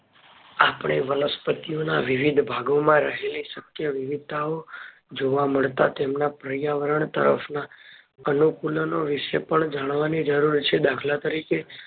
આપણે વનસ્પતિ ઓન વિવિધ ભાગો માં રહેલી શક્ય વિવિધતાઓ જોવા મળતા તેમના પર્યાવરણ તરફ ના અનુકૂલનો વિષે જાણવાની પણ જરૂર છે દાખલા તરીકે